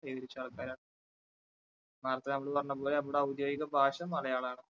കൈവരിച്ച ആൾക്കാരാണ് ഔദ്യോഗിക ഭാഷ മലയാളാണ്.